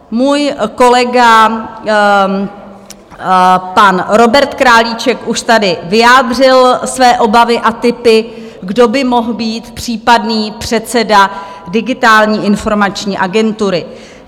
Můj kolega pan Robert Králíček už tady vyjádřil své obavy a tipy, kdo by mohl být případný předseda Digitální informační agentury.